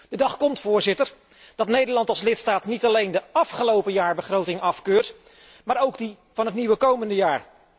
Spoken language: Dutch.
De dag komt, voorzitter, dat Nederland als lidstaat niet alleen de afgelopen jaarbegroting afkeurt, maar ook die van het nieuwe komende jaar.